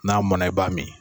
N'a mɔn na i b'a mi.